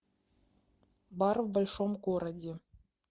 бар в большом городе